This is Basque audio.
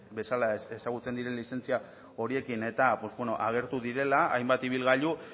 bezala ezagutzen diren lizentzia horiekin agertu direla hainbat ibilgailu